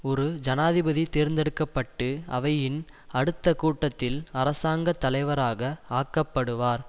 ஒரு ஜனாதிபதி தேர்ந்தெடுக்க பட்டு அவையின் அடுத்த கூட்டத்தில் அரசாங்க தலைவராக ஆக்கப்படுவார்